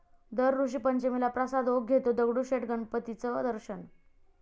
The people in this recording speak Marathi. दर ऋषीपंचमीला प्रसाद ओक घेतो दगडूशेठ गणपतीचं दर्शन